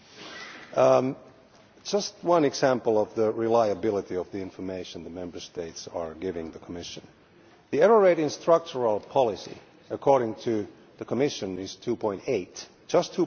To give just one example of the reliability of the information the Member States are giving the Commission, the error rate in structural policy is according to the Commission just